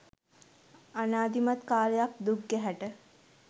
අනාදිමත් කාලයක් දුක් ගැහැට